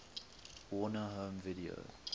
warner home video